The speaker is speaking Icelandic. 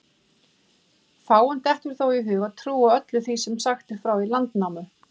Fáum dettur þó í hug að trúa öllu því sem sagt er frá í Landnámu.